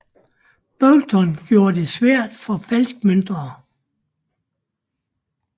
Boulton gjorde det svært for falskmøntnere